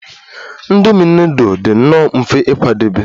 Indomi nudul dị nnọọ mfe ịkwadebe